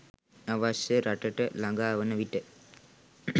අවශ්‍ය රටට ලඟා වන විට